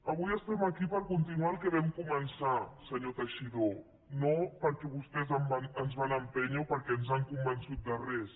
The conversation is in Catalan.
avui estem aquí per continuar el que vam començar senyor teixidó no perquè vostès ens van empènyer o perquè ens han convençut de res